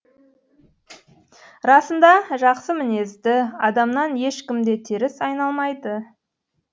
расында жақсы мінезді адамнан ешкім де теріс айналмайды